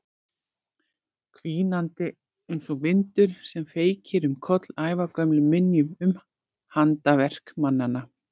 Hvínandi einsog vindur sem feykir um koll ævagömlum minjum um handaverk mannanna.